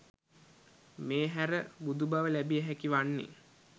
මේ හැර බුදුබව ලැබිය හැකි වන්නේ